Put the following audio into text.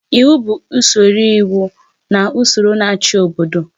Iwu bụ usoro iwu na ụsọrọ na-achị obodo.